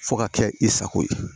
Fo ka kɛ i sago ye